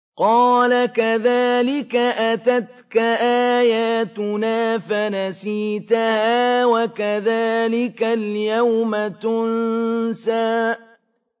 قَالَ كَذَٰلِكَ أَتَتْكَ آيَاتُنَا فَنَسِيتَهَا ۖ وَكَذَٰلِكَ الْيَوْمَ تُنسَىٰ